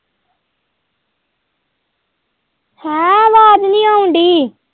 ਭੂੰਡੀ।